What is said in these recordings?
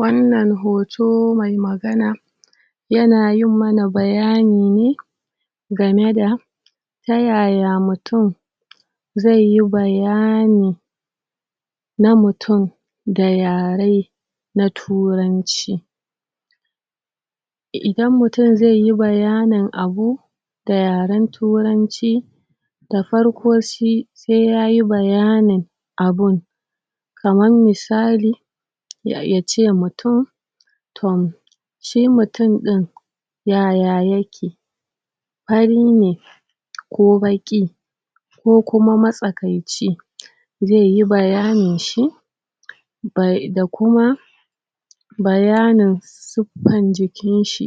Wannan hoto mai magana ya na yin mana bayani ne game da ta yaya mutum zai yi bayani na mutum da yare na turanci, idan mutum zai yi bayanin abu da yaren turanci da farko shi sai yayi bayanin abun kaman misali: ya... ya ce mutum ton shi mutum ɗin yaya yake? fari ne ko baƙi, ko kuma matsakaici zai yi bayanin shi, bai...da kuma bayanin siffan jikinshi,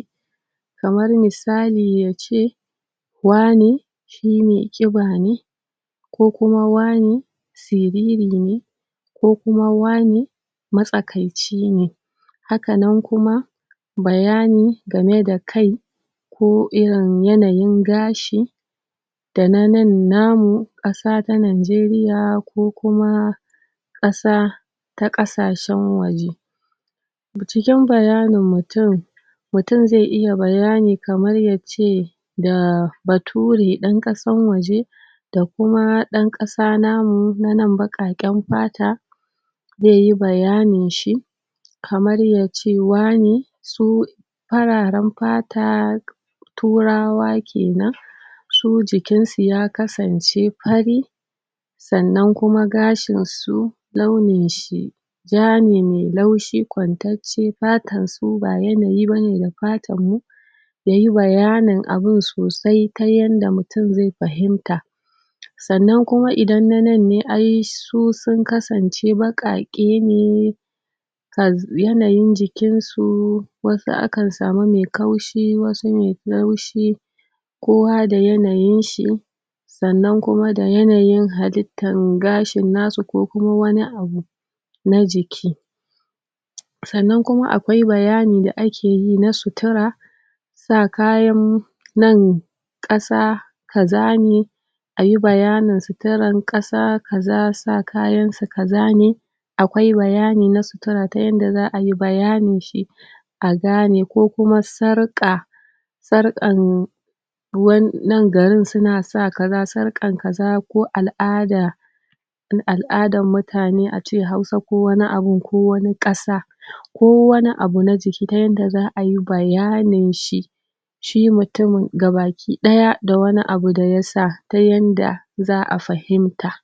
kamar misali yace: Wane shi mai ƙiba ne ko kuma wane siriri ne, ko kuma wane matsakaici ne, hakanan kuma bayani gameda kai ko irin yanayin gashi, da na nan namu, ƙasa ta Nigeria ko kuma ƙasa ta ƙasashen waje, cikin bayanin mutum mutum zai iya bayani kamar ya ce da bature ɗan ƙasan waje da kuma ɗan ƙasa ta mu na nan baƙaƙen fata zai yi bayani shi kamar ya ce wane su fararen fata turawa kenan, su jikinsu ya kasance fari, sannan kuma gashinsu launinshi ja ne mai laushi kwantacce fatansu ba yanayi bane da fatanmu, ya yi bayanin abun sosai ta yanda mutum zai fahimta, sannan kuma idan na nan ne ai su sun kasance baƙaƙe ne kas... yanayin jikinsu wasu akan samu mai kaushi, wasu mai laushi kowa da yanayinshi, sannan kuma da yanayin halittan gashin nasu ko kuma wani abu na jiki, sannan kuma akwai bayani da akeyi na sutura, sa kayan nan ƙasa kaza ne, ayi bayanin suturan ƙasa kaza sa kayansu kaza ne, akwai bayani na sutura ta yanda za'ayi bayaninshi, a gane ko kuma sarƙa sarƙan ruwan nan garin su na sa kaza sarƙan kaza ko al'ada al'adan mutane a ce Hausa ko wani abun ko wani ƙasa, ko wani abu na ciki ta yanda za'ayi bayaninshi shi mutum ga baki ɗaya da wani abu da ya sa ta yanda za'a fahimta.